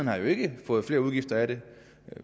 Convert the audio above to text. har jo ikke fået flere udgifter af det